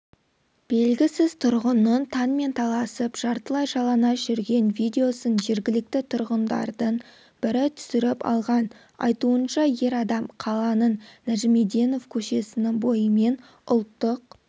белгісіз тұрғынның таңмен таласып жартылай жалаңаш жүрген видеосын жергілікті тұрғындардың бірі түсіріп алған айтуынша ер адам қаланың нәжімеденов көшесінің бойымен ұлттық